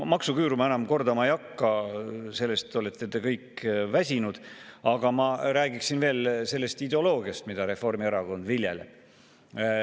Maksuküüru ma enam kordama ei hakka, sellest olete te kõik väsinud, aga ma räägiksin veel sellest ideoloogiast, mida Reformierakond viljeleb.